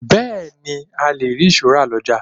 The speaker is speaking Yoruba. Bẹẹni, a le rí ìṣó rà lọjà.